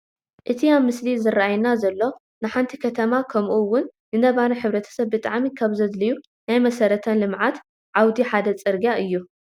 እቲ ኣብቲ ምስሊ ዝራኣየና ዘሎ ንሓንቲ ከተማ ከምኡ ውን ንነባሪ ሕ/ሰብ ብጣዕሚ ካብ ዘድልዩ ናይ መሰረተ ልምዓት ዓውዲ ሓደ ፅርግያ እዩ፡፡